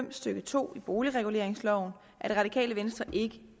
fem stykke to i boligreguleringsloven er det radikale venstre ikke